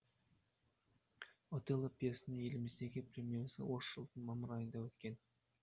отелло пьесасының еліміздегі премьерасы осы жылдың мамыр айында өткен